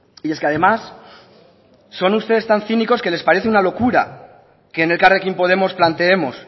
y es que además son ustedes tan cínicos que les parece una locura que en elkarrekin podemos planteemos